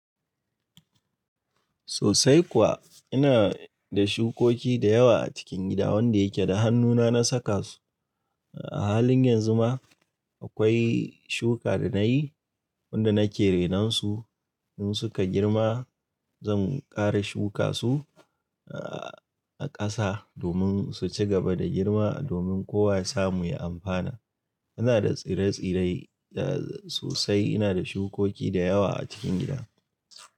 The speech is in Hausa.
Sosai kuwa. Ina da shukoki da yawa a cikin gida wanda yake da hannuna na saka su. A halin yanzu ma akwai shuka da na yi wanda nake renon su. In suka girma zan ƙara shuka su a ƙasa domin su ci gaba da girma domin kowa ya samu ya amfana. Ina da tsire-tsire sosai. Ina da shukoki da yawa a cikin gida.